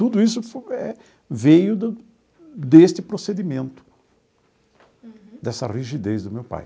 Tudo isso eh veio do deste procedimento. Uhum. Dessa rigidez do meu pai.